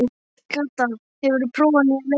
Kata, hefur þú prófað nýja leikinn?